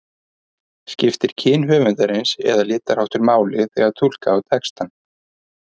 Skiptir kyn höfundarins eða litarháttur máli þegar túlka á textann?